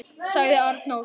., sagði Arnór.